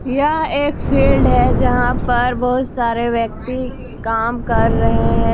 यह एक फील्ड है जहां पर बहुत सारे व्यक्ति काम कर रहे हैं।